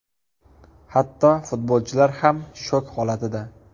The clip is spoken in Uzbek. Hatto futbolchilar ham shok holatida.